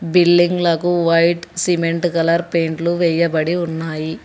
Building లకు white cement colour పెయింట్లు వెయ్యబడి ఉన్నాయి.